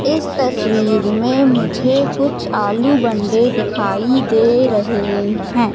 इस तस्वीर में मुझे कुछ आलू बंडे दिखाई दे रहे हैं।